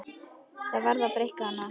Það varð að breikka hana.